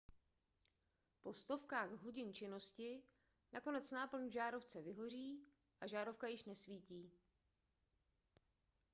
po stovkách hodin činnosti nakonec náplň v žárovce vyhoří a žárovka již nesvítí